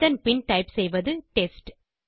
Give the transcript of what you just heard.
இதன் பின் டைப் செய்வது டெஸ்ட்